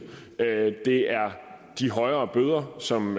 det er de højere bøder som